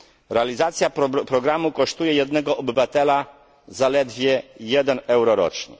Realizacja programu kosztuje jednego obywatela zaledwie 1 euro rocznie.